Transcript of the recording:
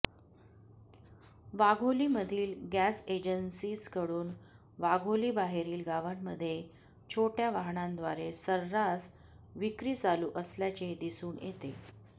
वाघोली मधील गॅस एजन्सीजकडून वाघोली बाहेरील गावांमध्ये छोट्या वाहनांद्वारे सर्रास विक्री चालू असल्याचे दिसून येते